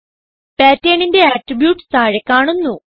Patternന്റെ attributes താഴെ കാണുന്നു